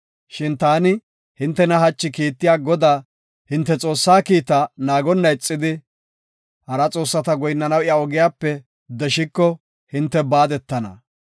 Shin taani hintena hachi kiittiya Godaa, hinte Xoossaa kiita naagonna ixidi, hara xoossata goyinnanaw iya ogiyape deshiko, hinte baadetana.